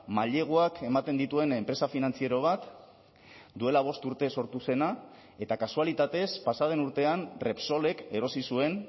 maileguak ematen dituen enpresa finantziero bat duela bost urte sortu zena eta kasualitatez pasa den urtean repsolek erosi zuen